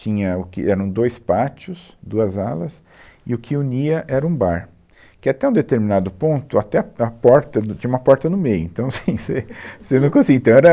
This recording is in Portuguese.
Tinha o que eram dois pátios, duas alas, e o que unia era um bar, que até um determinado ponto, até a a porta do, tinha uma porta no meio, então assim, você, você, não conseguia. Então era